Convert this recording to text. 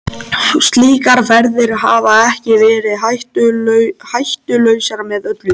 Slíkar ferðir hafa ekki verið hættulausar með öllu.